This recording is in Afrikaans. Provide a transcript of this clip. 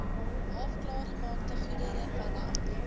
halfklaargemaakte goedere vanaf